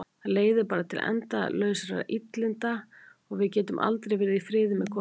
Það leiðir bara til endalausra illinda og við getum aldrei verið í friði með kofana.